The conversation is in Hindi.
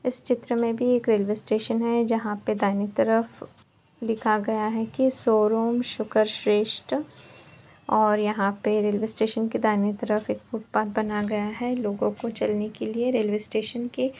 इस चित्र मे भी एक रेलवे स्टेशन है जहाँ पे दाहिने तरफ लिखा गया है की शोरूम शूकर श्रेष्ठ और यहाँ पे रेलवे स्टेशन के दाहिने तरफ एक फुटपाथ बना गया है लोगो को चलने के लिए रेलवे स्टेशन के --